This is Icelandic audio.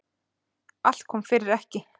Allt kom fyrir ekki.